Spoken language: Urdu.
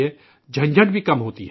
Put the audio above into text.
جھنجھٹ بھی کم ہوتی ہے